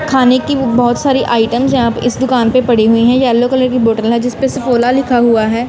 खाने की बहुत सारी आइटम्स यहां पे इस दुकान पे पड़ी हुई हैं येलो कलर की बॉटल है जिसपे सफोला लिखा हुआ है।